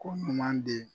Ko ɲuman de